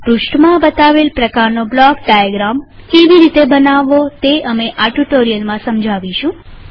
આ પૃષ્ઠમાં બતાવેલ પ્રકારનો બ્લોક ડાયાગ્રામ કેવી રીતે બનાવાવો તે અમે આ ટ્યુ્ટોરીઅલમાં સમજાવીશું